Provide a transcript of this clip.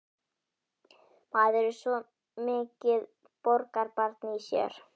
Maður er svo mikið borgarbarn í sér.